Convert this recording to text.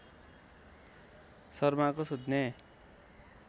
शर्माको सुत्ने